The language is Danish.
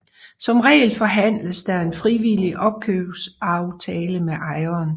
Som regel forhandles der en frivillig opkøbsaftale med ejeren